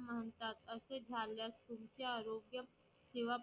म्हणतात असे झाल्यासतुंचे आरोग्य किंवा